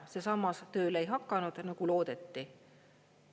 See sammas tööle ei hakanud, nagu loodeti.